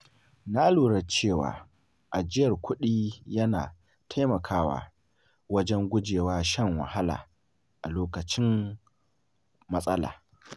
Na lura cewa ajiyar kuɗi yana taimakawa wajen guje wa shan wahala a lokacin matsala.